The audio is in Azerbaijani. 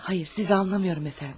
Hayır, siz anlamıram efendim.